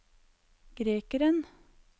grekeren